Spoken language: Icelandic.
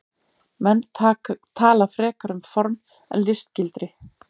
Menn tala frekar um form eða listgildi.